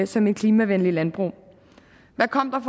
som et klimavenligt landbrug hvad kom der